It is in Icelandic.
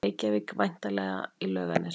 Reykjavík, væntanlega í Laugarnesi.